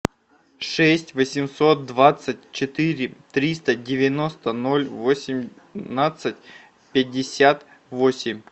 шесть восемьсот двадцать четыре триста девяносто ноль восемнадцать пятьдесят восемь